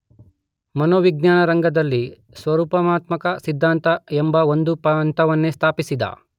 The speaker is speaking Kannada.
ಮನೋವಿಜ್ಞಾನ ರಂಗದಲ್ಲಿ ಸ್ವರೂಪಾತ್ಮಕ ಸಿದ್ಧಾಂತ ಎಂಬ ಒಂದು ಪಂಥವನ್ನೇ ಸ್ಥಾಪಿಸಿದ.